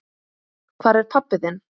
Hvar er pabbi þinn?